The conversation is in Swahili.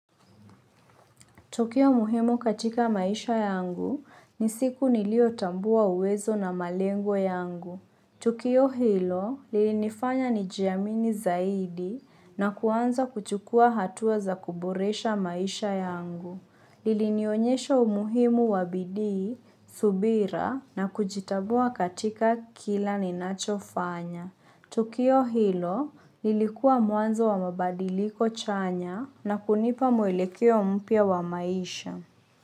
Tukio muhimu katika maisha yangu, ni siku niliotambua uwezo na malengo yangu. Tukio hilo lilinifanya nijiamini zaidi na kuanza kuchukua hatua za kuboresha maisha yangu. Ilinionyesha umuhimu wa bidii, subira na kujitambua katika kila ninachofanya. Tukio hilo ilikuwa mwanzo wa mabadiliko chanya na kunipa mwelekea mpya wa maisha.